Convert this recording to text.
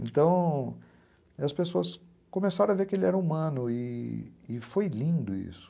Então as pessoas começaram a ver que ele era humano e foi lindo isso.